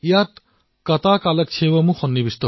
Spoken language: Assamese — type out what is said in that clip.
ইয়াৰে ভিতৰত কতাকালক্ষেৱম অন্যতম